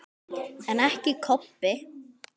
En ekki Kobbi.